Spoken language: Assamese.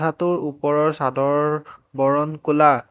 কোঠাটোৰ ওপৰৰ ছাদৰ বৰণ ক'লা।